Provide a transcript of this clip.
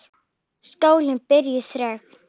Skólinn býr þröngt.